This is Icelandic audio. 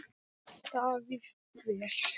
Davíð: Vel.